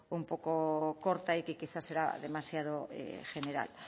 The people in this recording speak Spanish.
un poco corta y que quizás era demasiado general